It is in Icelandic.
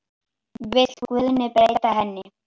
Vill Guðni breyta henni?